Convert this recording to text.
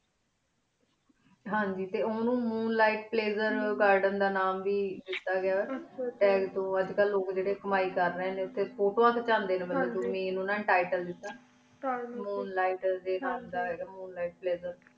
ਹਨ ਜੀ ਟੀ ਉਨੂ moon like pleasure ਨਾਮੇ ਵੇ ਦੇਤਾ ਗਯਾ ਟੀ ਅਜੇ ਕਲ ਲੋਗ ਉਠੀ ਕਮਾਈ ਕਰ ਰਹੀ ਨੀ ਫਿਟੋ ਕ੍ਚ੍ਵਾੰਡੀ ਨੀ ਉਠੀ ਮੈਂ ਉਨਾ ਨੀ ਤਿਤਾਲ ਦੇਤਾ ਮੂਨ ਲਿਖੇ ਡੀ ਨਾਮ ਦਾ ਹੀ ਗਾ moon like pleasure